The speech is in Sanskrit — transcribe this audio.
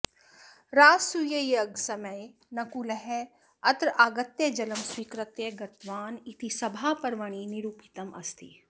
राजसूययागसमये नकुलः अत्र आगत्य जलं स्वीकृत्य गतवान् इति सभापर्वणि निरूपितम् अस्ति